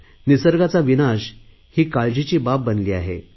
निसर्गाचा विनाश ही काळजीची बाब बनली आहे